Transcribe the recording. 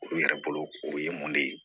U yɛrɛ bolo o ye mun de ye